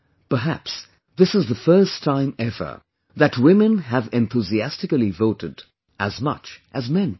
Perhaps, this is the first time ever, that women have enthusiastically voted, as much as men did